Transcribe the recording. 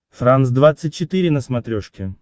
франс двадцать четыре на смотрешке